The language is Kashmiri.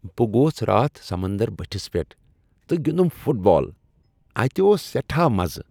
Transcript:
بہٕ گوس راتھ سمنٛدر بٔٹھس پٮ۪ٹھ تہٕ گنِٛدُم فٹ بال۔ اتہِ اوس سیٹھاہ مزٕ ۔